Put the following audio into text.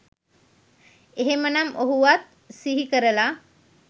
එහෙමනම් ඔහුවත් සිහි කරලා